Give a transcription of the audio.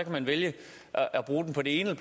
man vælge at bruge den på det ene